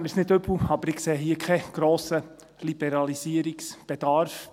Nehmen Sie es mir nicht übel, aber ich sehe hier keinen grossen Liberalisierungsbedarf.